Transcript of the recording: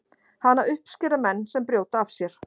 Hana uppskera menn sem brjóta af sér.